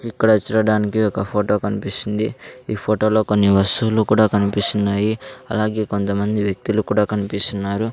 ఇక్కడ చూడడానికి ఒక ఫొటో కన్పిస్తుంది ఈ ఫోటోలో కొన్ని వస్తువులు కూడా కన్పిస్తున్నాయి అలాగే కొంతమంది వ్యక్తులు కూడా కన్పిస్తున్నారు.